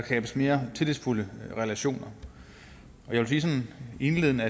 skabes mere tillidsfulde relationer og jeg vil indledende